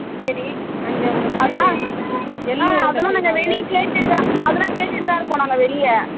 சரி அதுல்லா வெளில கேட்டுகிட்டுத்தா இருக்கோ வெளில